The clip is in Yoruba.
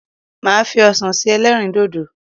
Màá fi ọsàn se ẹlẹ́rìndòdò.